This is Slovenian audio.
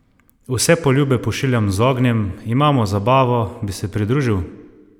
Vse poljube pošiljam z ognjem, imamo zabavo, bi se pridružil?